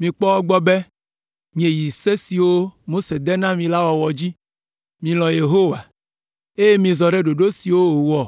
Mikpɔ egbɔ be mieyi se siwo Mose de na mi la wɔwɔ dzi, milɔ̃ Yehowa, eye mizɔ ɖe ɖoɖo siwo wòwɔ